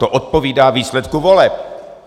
To odpovídá výsledku voleb.